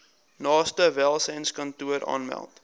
naaste welsynskantoor aanmeld